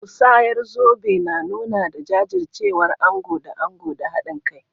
Musayar zobe na nuni da jajircewar ango da ango da hadin kai.